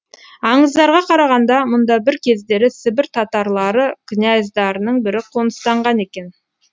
аңыздарға қарағанда мұнда бір кездері сібір татарлары князьдарының бірі қоныстанған екен